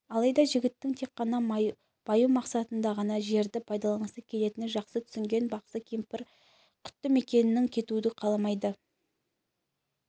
алайда жігіттің тек қана баю мақсатында ғана жерді пайдаланғысы келетінін жақсы түсінген бақсы кемпір құтты мекеннен кетуді қаламайды